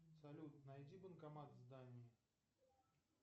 салют найди банкомат в здании